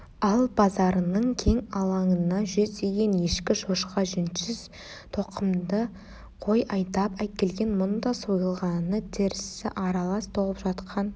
ал базарының кең алаңына жүздеген ешкі шошқа жүнсіз тұқымды қой айдап әкелген мұнда сойылғаны тірісі аралас толып жатқан